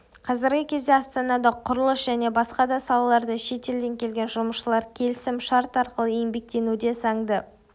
қазіргі кезде астанада құрылыс және басқа да салаларда шетелден келген жұмысшылар келісім шарт арқылы еңбектенуде заңды